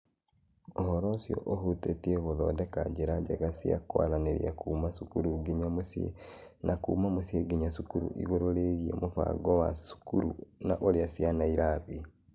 Ũhoro ũcio ũhutĩtie gũthondeka njĩra njega cia kwaranĩria kuuma cukuru nginya mũciĩ na kuuma mũciĩ nginya cukuru igũrũ rĩgiĩ mũbango wa cukuru na ũrĩa ciana irathiĩ.